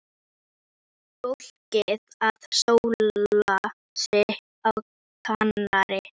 Marsa, hvað er í matinn á föstudaginn?